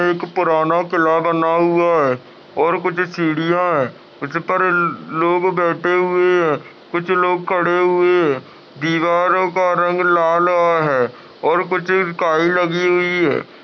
एक पुराना किला बना हुआ है और कुछ सीढियाँ है। उस पर ल् लोग बैठे हुए है कुछ लोग खड़े हुए है। दीवारों का रंग लालवा है और कुछ काई लगी हुई है।